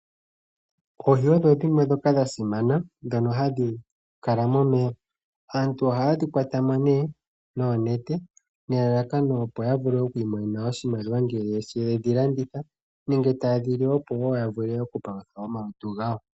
Oohi odhimwe ndhoka dha simana dhono hadhi kala momeya . Aantu Oha ye dhi kwatwamo noonete nelala kano opo ya vule okwiimonena mo oshimaliwa ngele yedhi landitha nenge, ye dhi lye opo woo yavule oku palutha omalutu gawo.